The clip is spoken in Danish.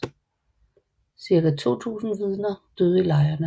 Cirka 2000 Vidner døde i lejrene